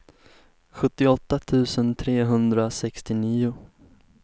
sjuttioåtta tusen trehundrasextionio